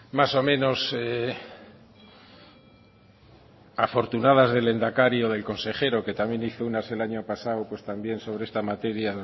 más o menos afortunadas del lehendakari o del consejero que también hizo algunas el año pasado sobre esta materia